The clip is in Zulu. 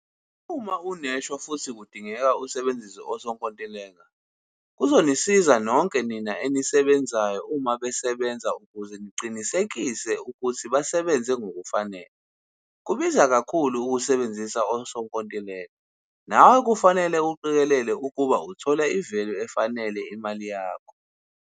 Uma uneshwa futhi kudingeka usebenzise osonkontileka - kuzonisiza nonke nina enisebenzayo uma besebenza ukuze niqinisekise ukuthi basebenze ngokufanele. Kubiza kakhulu ukusebenzisa osonkontileka nawe kufanele uqikelele ukuba uthola ivelu efanele imali yakho.